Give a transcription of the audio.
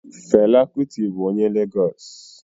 Fela Kuti bụ onye Legos